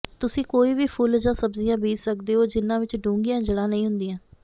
ਤੁਸੀਂ ਕੋਈ ਵੀ ਫੁੱਲ ਜਾਂ ਸਬਜ਼ੀਆਂ ਬੀਜ ਸਕਦੇ ਹੋ ਜਿਨ੍ਹਾਂ ਵਿਚ ਡੂੰਘੀਆਂ ਜੜ੍ਹਾਂ ਨਹੀਂ ਹੁੰਦੀਆਂ